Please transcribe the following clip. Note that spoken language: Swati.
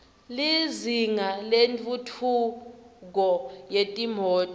lizinga lentfutfu ko yetimoto